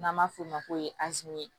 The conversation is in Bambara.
N'an b'a f'o ma ko